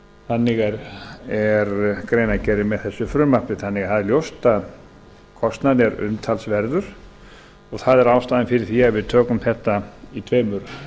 þannig er greinargerðin með þessu frumvarpi þannig að það er ljóst að kostnaður er umtalsverður það er ástæðan fyrir því að við tökum þetta í tveimur